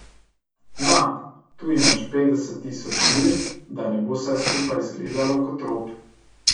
Na, tu imaš petdeset tisoč lir, da ne bo vse skupaj izgledalo kot rop.